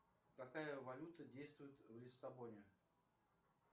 какая валюта действует в лиссабоне